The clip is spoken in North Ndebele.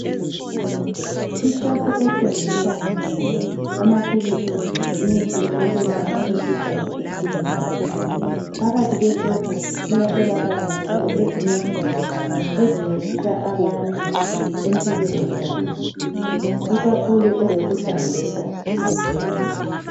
Ishopu ethengisa amaphilisi lemithi yokwelapha umkhuhlane etshiyeneyo phakathi kwe shop kuyatholakala njalo ezinye izinto ezincedisa abantu empilweni zabo ikakhulu ezokuhlanzeka.